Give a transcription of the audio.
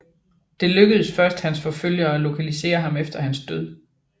Det lykkedes først hans forfølgere at lokalisere ham efter hans død